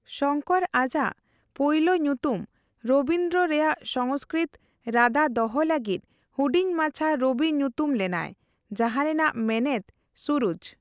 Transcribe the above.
ᱥᱚᱝᱠᱚᱨ ᱟᱡᱟᱜ ᱯᱳᱭᱞᱳ ᱧᱩᱛᱩᱢ ᱨᱚᱵᱤᱱᱫᱨᱚ ᱨᱮᱭᱟᱜ ᱥᱚᱝᱥᱠᱨᱤᱛ ᱨᱟᱫᱟ ᱫᱚᱦᱚ ᱞᱟᱹᱜᱤᱫ ᱦᱩᱰᱤᱧ ᱢᱟᱪᱷᱟ ᱨᱚᱵᱤ ᱧᱩᱛᱩᱢ ᱞᱮᱱᱟᱭ ᱡᱟᱦᱟᱸ ᱨᱮᱱᱟᱜ ᱢᱮᱱᱮᱛ ᱥᱩᱨᱩᱡᱽ ᱾